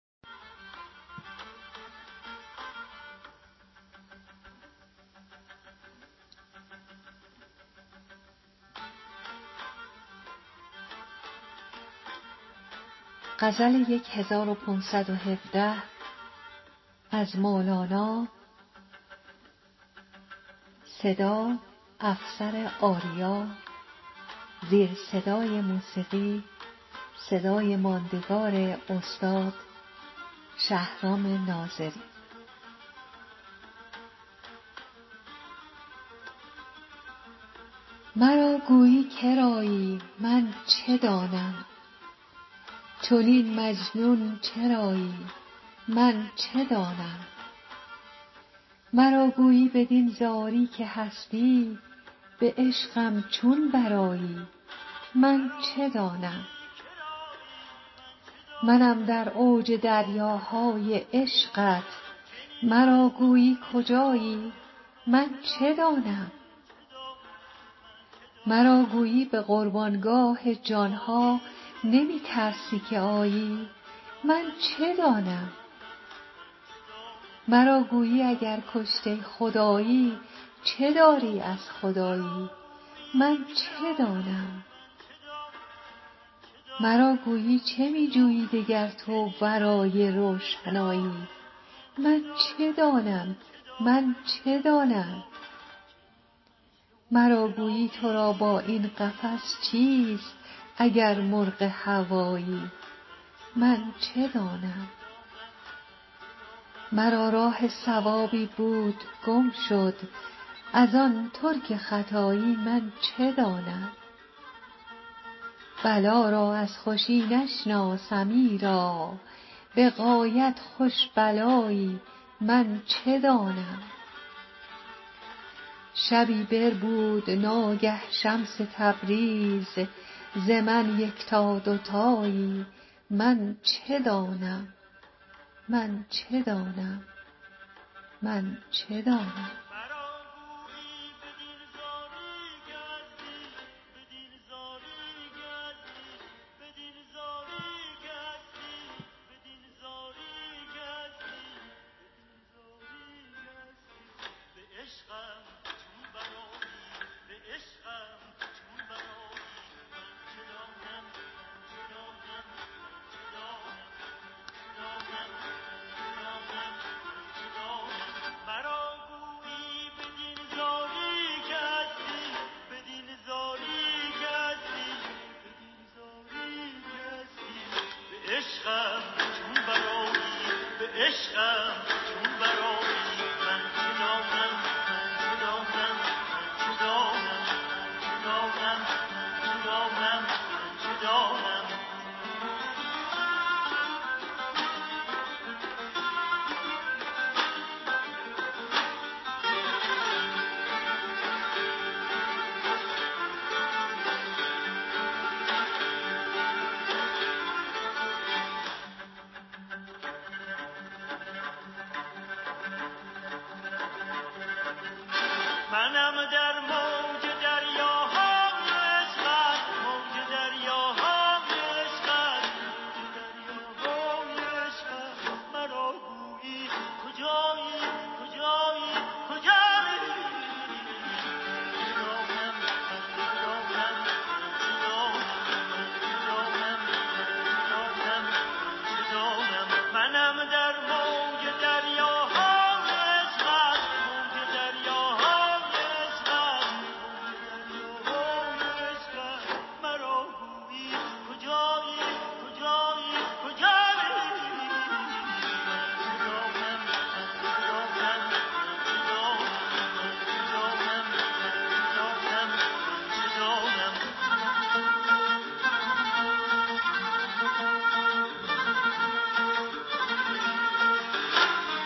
مرا گویی که رایی من چه دانم چنین مجنون چرایی من چه دانم مرا گویی بدین زاری که هستی به عشقم چون برآیی من چه دانم منم در موج دریاهای عشقت مرا گویی کجایی من چه دانم مرا گویی به قربان گاه جان ها نمی ترسی که آیی من چه دانم مرا گویی اگر کشته خدایی چه داری از خدایی من چه دانم مرا گویی چه می جویی دگر تو ورای روشنایی من چه دانم مرا گویی تو را با این قفس چیست اگر مرغ هوایی من چه دانم مرا راه صوابی بود گم شد ار آن ترک ختایی من چه دانم بلا را از خوشی نشناسم ایرا به غایت خوش بلایی من چه دانم شبی بربود ناگه شمس تبریز ز من یکتا دو تایی من چه دانم